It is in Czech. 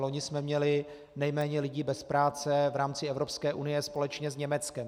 Loni jsme měli nejméně lidí bez práce v rámci Evropské unie společně s Německem.